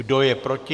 Kdo je proti?